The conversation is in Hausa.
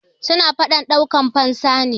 suna fadan daukan fansa ne